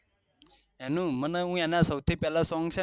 એનું મને સૌ થી પેહલા સોંગ છે ને